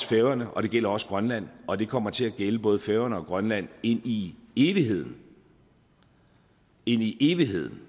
færøerne og det gælder også grønland og det kommer til at gælde både færøerne og grønland ind i evigheden ind i evigheden